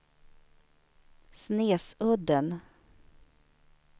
Snesudden